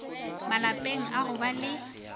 malapeng a go ba le